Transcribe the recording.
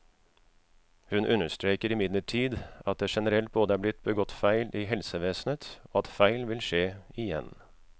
Hun understreker imidlertid at det generelt både er blitt begått feil i helsevesenet, og at feil vil skje igjen.